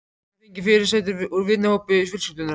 Hún hefur fengið fyrirsætur úr vinahópi fjölskyldunnar.